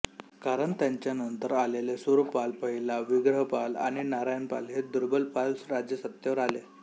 कारण त्याच्यानंतर आलेले सूरपाल पहिला विग्रहपाल आणि नारायणपाल हे दुर्बल पाल राजे सत्तेवर आले